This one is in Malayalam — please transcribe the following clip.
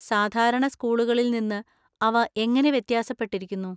സാധാരണ സ്കൂളുകളിൽ നിന്ന് അവ എങ്ങനെ വ്യത്യാസപ്പെട്ടിരിക്കുന്നു?